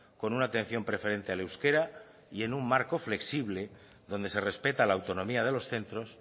con una atención preferente al euskera y en un marco flexible donde se respeta la autonomía de los centros